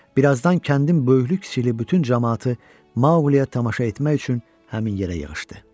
Birazdan kəndin böyüklü-kiçikli bütün camaatı Maqliya tamaşa etmək üçün həmin yerə yığışdı.